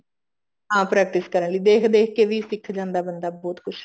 ਹਾਂ practice ਕਰਨ ਲਈ ਦੇਖ ਦੇਖ ਕੇ ਵੀ ਸਿੱਖ ਜਾਂਦਾ ਬੰਦਾ ਬਹੁਤ ਕੁੱਝ